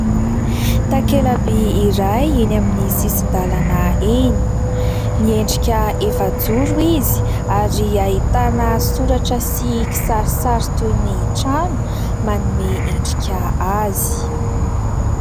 Takelaby iray eny amin'ny sisin-dalana eny, miendrika efa-joro izy ary ahitana soratra sy kisarisary toy ny trano manome endrika azy.